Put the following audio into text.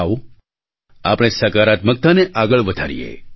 આવો આપણે સકારાત્મકતાને આગળ વધારીએ